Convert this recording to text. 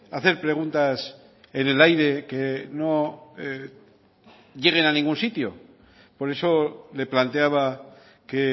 hacer preguntas en el aire que no lleguen a ningún sitio por eso le planteaba que